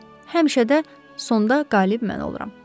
Həmişə də sonda qalib mən oluram.